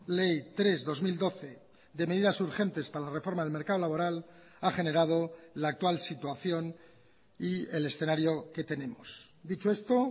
ley tres barra dos mil doce de medidas urgentes para la reforma del mercado laboral ha generado la actual situación y el escenario que tenemos dicho esto